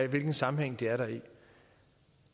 hvilken sammenhæng de er der